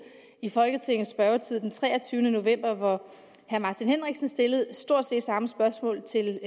i folketingets spørgetid den treogtyvende november hvor herre martin henriksen stillede stort set det samme spørgsmål til